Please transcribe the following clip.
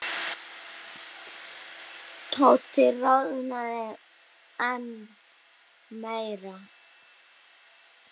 Tóti roðnaði enn meira.